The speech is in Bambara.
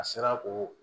A sera k'o